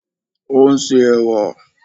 O nse ẹ̀wà